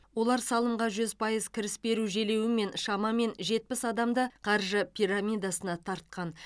олар салымға жүз пайыз кіріс беру желеуімен шамамен жетпіс адамды қаржы пирамидасына тартқан